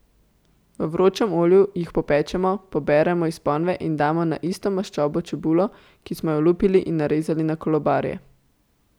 V vročem olju jih popečemo, poberemo iz ponve in damo na isto maščobo čebulo, ki smo jo olupili in narezali na kolobarje.